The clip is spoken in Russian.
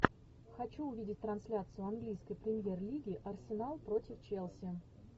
хочу увидеть трансляцию английской премьер лиги арсенал против челси